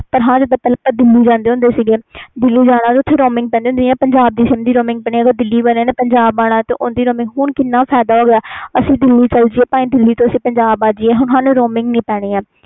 ਹਾਂ ਜਿੰਦਾ ਆਪਾ ਦਿਲੀ ਜਾਂਦੇ ਸੀ ਓਥੇ roaming ਪੈਂਦੀ ਸੀਦਿੱਲੀ ਵਾਲਿਆਂ ਨੇ ਪੰਜਾਬ ਆਣਾ ਓਹਨੂੰ ਨੂੰ ਵੀ roaming ਪੈਂਦੀ ਸੀ ਹੁਣ ਕਿੰਨਾ ਫਾਇਦਾ ਹੋ ਗਿਆ ਆਪਾ ਚਲ ਜਾਈ ਦਿੱਲੀ ਜਾ ਦਿੱਲੀ ਵਾਲੇ ਪੰਜਾਬ ਆ ਜਾਈਏ ਤੇ ਨਹੀਂ ਪੈਂਦੀ roaming